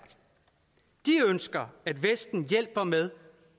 de ønsker at vesten hjælper med